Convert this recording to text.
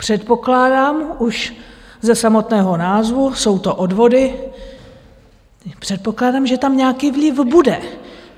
Předpokládám už ze samotného názvu - jsou to odvody - předpokládám, že tam nějaký vliv bude.